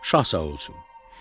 Şah sağ olsun.